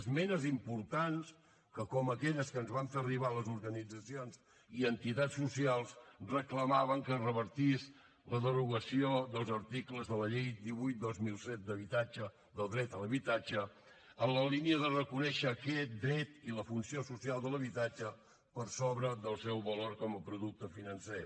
esmenes importants que com aquelles que ens van fer arribar les organitzacions i entitats socials reclamaven que es revertís la derogació dels articles de la llei divuit dos mil set del dret a l’habitatge en la línia de reconèixer aquest dret i la funció social de l’habitatge per sobre del seu valor com a producte financer